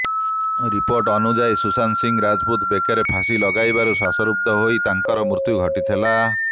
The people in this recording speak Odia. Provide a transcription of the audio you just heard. ରିପୋର୍ଟ ଅନୁଯାୟୀ ସୁଶାନ୍ତ ସିଂହ ରାଜପୁତ ବେକରେ ଫାଶୀ ଲଗାଇବାରୁ ଶ୍ବାସରୁଦ୍ଧ ହୋଇ ତାଙ୍କର ମୃତ୍ୟୁ ଘଟିଥିଲା